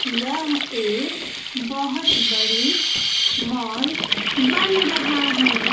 यह एक बहोत बड़ी मॉल बन रहा है।